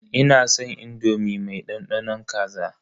Ina san indomi mai dandanon kaza.